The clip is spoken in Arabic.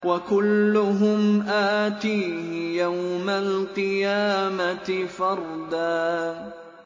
وَكُلُّهُمْ آتِيهِ يَوْمَ الْقِيَامَةِ فَرْدًا